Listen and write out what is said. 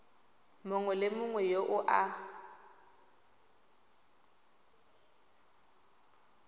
mongwe le mongwe yo a